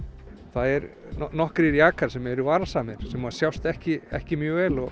það er nokkrir jakar sem eru varasamir sem sjást ekki ekki mjög vel og